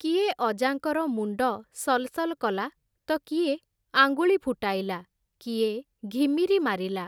କିଏ ଅଜାଙ୍କର ମୁଣ୍ଡ ସଲ୍‌ସଲ୍ କଲା, ତ କିଏ ଆଙ୍ଗୁଳି ଫୁଟାଇଲା, କିଏ ଘିମିରି ମାରିଲା ।